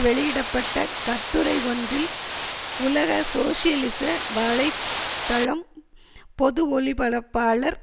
வெளியிட பட்ட கட்டுரை ஒன்றில் உலக சோசியலிச வலை தளம் பொது ஒலிபரப்பாளர்